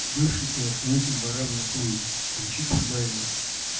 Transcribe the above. бывший телохранитель вора в законе камчи кульбаева